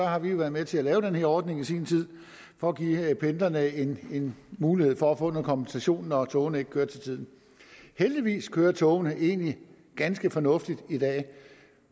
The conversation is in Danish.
har vi været med til at lave den her ordning i sin tid for at give pendlerne en en mulighed for at få noget kompensation når togene ikke kørte til tiden heldigvis kører togene egentlig ganske fornuftigt i dag